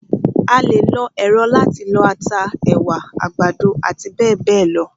A lè lo èrọ láti lọ ata, ẹ̀wà, àgbàdo àti bẹ́ẹ̀bẹ́ẹ̀ lọ.